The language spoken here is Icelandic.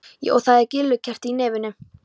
Og það er grýlukerti í nefinu!